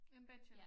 En bachelor